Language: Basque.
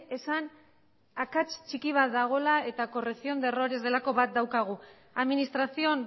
esan akats txiki bat dagoela eta correción de errores delako bat daukagu administración